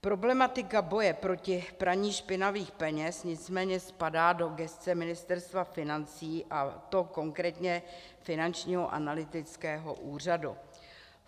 Problematika boje proti praní špinavých peněz nicméně spadá do gesce Ministerstva financí, a to konkrétně Finančního analytického úřadu.